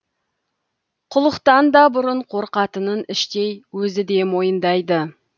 құлықтан да бұрын қорқатынын іштей өзі де мойындайды